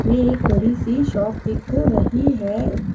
ये एक बड़ी सी शॉप दिख रही है।